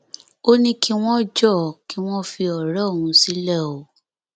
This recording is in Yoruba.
ó ní kí wọn jọọ kí wọn fi ọrẹ òun sílẹ o